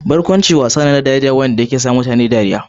Barkwanci wasa ne na dariya, wanda ke sa mutane dariya.